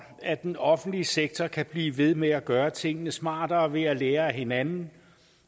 at den offentlige sektor kan blive ved med at gøre tingene smartere ved at lære af hinanden